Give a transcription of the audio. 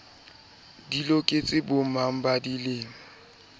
di loketse bomang ba dilemo